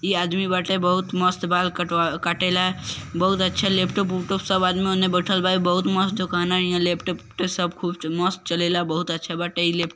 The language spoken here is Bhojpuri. ई आदमी बाटे बहुत मस्त बाल कटवा काटेला बहुत अच्छा लैपटॉप - उपटॉप सब आदमी ओने बैठल बा | ई बहुत मस्त दुकान है हिया लैपटॉप - उपटॉप खूब मस्त चलेला बहुत अच्छा बाटे ई लै --